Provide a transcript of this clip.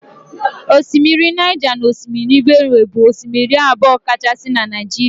Osimiri Niger na osimiri benue bụ osimiri abụọ kachasị na Naịjirịa